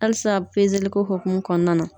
Halisa ko hukumu kɔnɔna na